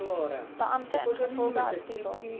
beampte ingevolge artikel